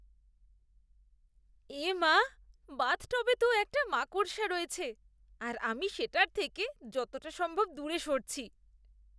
এ মা! বাথটবে তো একটা মাকড়সা রয়েছে আর আমি সেটার থেকে যতটা সম্ভব দূরে সরছি।